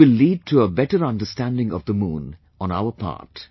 It will lead to a better understanding of the Moon on our part